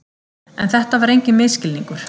En þetta var enginn misskilningur.